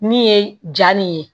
Min ye ja nin ye